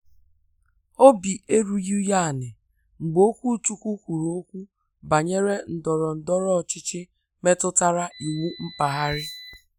Obi erughị ya ala mgbe okwuchukwu kwuru okwu banyere ndọrọ ndọrọ ọchịchị metụtara iwu mpaghara.